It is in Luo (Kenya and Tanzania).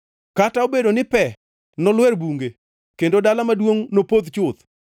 Kata obedo ni pe nolwer bunge kendo dala maduongʼ nopodh chuth,